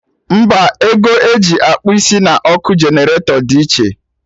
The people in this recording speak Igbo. Mba, ego eji akpụ isi na ọkụ generator dị iche